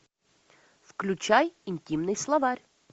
включай интимный словарь